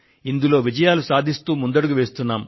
ఇందులో విజయాలు సాధిస్తూ ముందడుగు వేస్తున్నాం